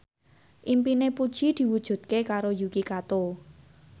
impine Puji diwujudke karo Yuki Kato